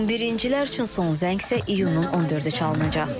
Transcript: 11-cilər üçün son zəng isə iyunun 14-ü çalınacaq.